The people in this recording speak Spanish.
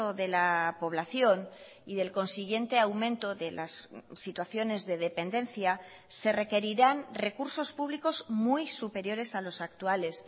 de la población y del consiguiente aumento de las situaciones de dependencia se requerirán recursos públicos muy superiores a los actuales